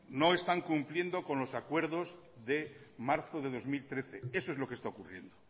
no están cumpliendo con los acuerdos de marzo de dos mil trece eso es lo que está ocurriendo